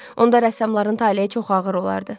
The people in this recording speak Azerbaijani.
Onda rəssamların taleyi çox ağır olardı.